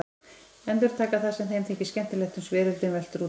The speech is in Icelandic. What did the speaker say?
Endurtaka það sem þeim þykir skemmtilegt uns veröldin veltur út af.